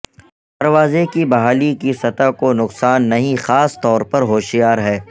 دروازے کی بحالی کی سطح کو نقصان نہیں خاص طور پر ہوشیار ہے